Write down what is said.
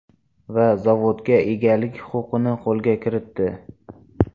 Va zavodga egalik huquqini qo‘lga kiritdi.